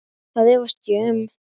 Það efast ég um.